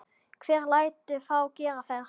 Hver lætur þá gera þetta?